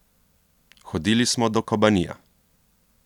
Hodili smo do Kobanija.